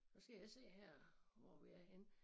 Så skal jeg se her hvor vi er henne